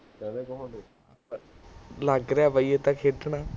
ਲਗ ਰਿਹਾ ਬਈ, ਇਹ ਤਾ ਖੇਡਣਾ